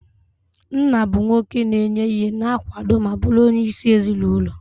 Nna bụ nwoke na-enye ihe, na-akwado ma bụrụ onyeisi ezinụlọ.